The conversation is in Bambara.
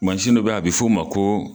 dɔ be yen, a bi f'o ma ko